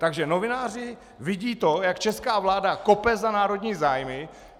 Takže novináři vidí to, jak česká vláda kope za národní zájmy.